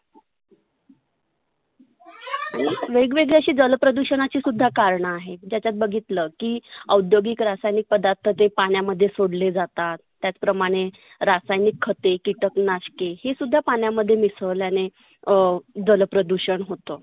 वेग वेगळी अशी जल प्रदुषनांची कारण आहेत. त्याच्यात बघितलं की औद्योगिक रासायनीक पदार्थाते पाण्यामध्ये सोडले जातात. त्याच प्रमाणे रासायनीक खते, किटक नाषके हे सुद्धा पाण्यामध्ये मिसळल्याने अं जल प्रदुषन होतं.